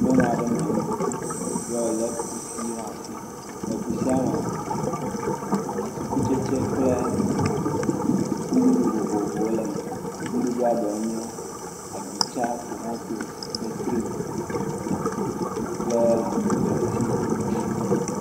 Nyɔnu aɖe nɔ anyi yi wole kusi ɖe asi. Le kusia me atikutsetse kple nuɖuɖu vovovowo le me. Nuɖuɖua ɖewo nye agbitsa, tomatosi, fetri kple dɔntsi.